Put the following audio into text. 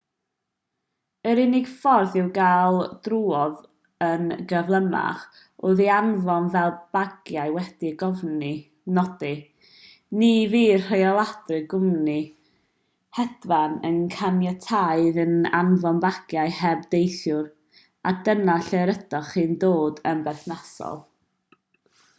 yr unig ffordd i'w gael drwodd yn gyflymach oedd ei anfon fel bagiau wedi'u cofnodi ni fydd rheoliadau'r cwmni hedfan yn caniatáu iddynt anfon bagiau heb deithiwr a dyna lle rydych chi'n dod yn berthnasol